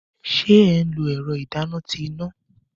Ṣé ẹ nlo ẹ̀rọ ìdáná ti iná?